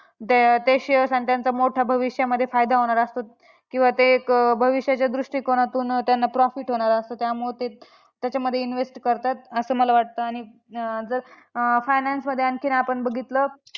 ते shares अन त्यांचा मोठा भविष्यामध्ये फायदा होणार असतो. किंवा ते एक भविष्याच्या दृष्टिकोनातून त्यांना profit होणार असतो, त्यामुळं ते त्याच्यामध्ये invest करतात. असं मला वाटतं आणि जर अं finance मध्ये आणखीन आपण बघितलं